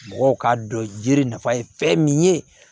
Mɔgɔw k'a dɔn yiri nafa ye fɛn min ye